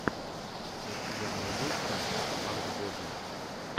у тебя найдется хард боди